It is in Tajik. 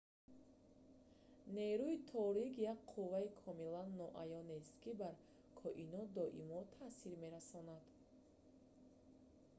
нерӯи торик як қувваи комилан ноаёнест ки бар коинот доимо таъсир мерасонад